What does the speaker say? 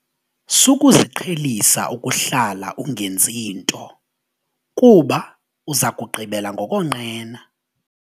Sukuziqhelisa ukuhlala ungenzi nto kuba uza kugqibela ngokonqena.